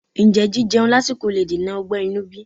Ǹjẹ́ jíjeun lásìkò le dènà ọgbẹ́ inú bí?